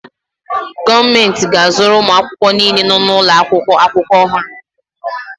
Gọọmentị ga-azụrụ ụmụ akwụkwọ niile nọ n'ụlọakwụkwọ akwụkwọ ọhụrụ.